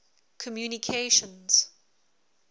communications